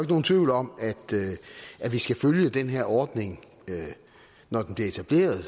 nogen tvivl om at vi skal følge den her ordning når den bliver etableret og